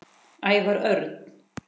Ævar Örn